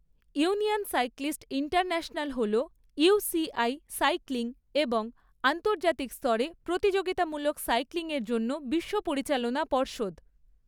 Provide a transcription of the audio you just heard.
Union Cyclist International হল UCI cycling এবং আন্তর্জাতিক স্তরে প্রতিযোগিতামূলক সাইক্লিংয়ের জন্য বিশ্ব পরিচালনা পর্ষদ।